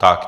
Tak.